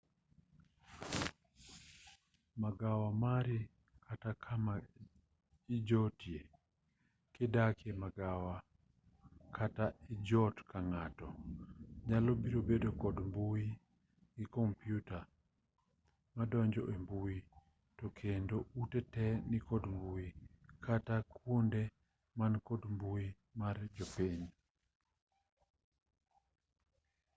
magawa mari kata kama ijotie kidakie magawa kata ijot kang'ato nyalo biro bedo kod mbui gi kompiuta madonjo embui tokendo ute tee nikod mbui kata kuonde man kod mbui mar jopiny